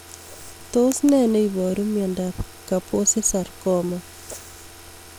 Tos ne neiparu miondop Kaposi sarcoma?